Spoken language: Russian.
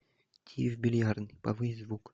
тиви в бильярдной повысь звук